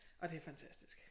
Og det fantastisk